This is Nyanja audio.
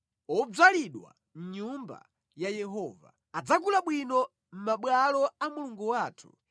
odzalidwa mʼnyumba ya Yehova, adzakula bwino mʼmabwalo a Mulungu wathu.